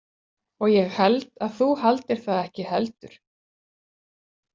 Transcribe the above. Og ég held að þú haldir það ekki heldur.